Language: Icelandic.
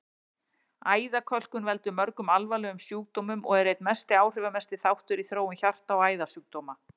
Æðakölkun veldur mörgum alvarlegum sjúkdómum og er einn áhrifamesti þáttur í þróun hjarta- og æðasjúkdóma.